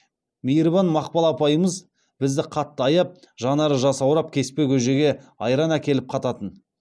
мейірбан мақпал апайымыз бізді қатты аяп жанары жасаурап кеспе көжеге айран әкеліп қататын